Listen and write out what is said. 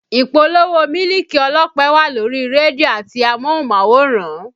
Ìpolówó mílìkì ọlọ́pẹ wà lórí rédíò àti amóhùnmáwòrán